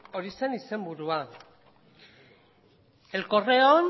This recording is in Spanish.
hori zen izenburua el correon